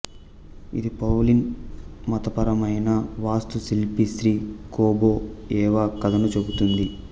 ఇది పౌలిన్ మతపరమైన వాస్తుశిల్పి శ్రీ కోబో ఎవా కథను చెబుతుంది